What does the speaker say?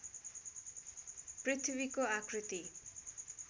पृथ्वीको आकृति